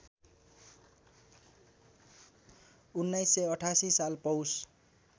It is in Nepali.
१९८८ साल पौष